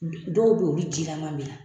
Dɔw be yen olu ji kalan be yan .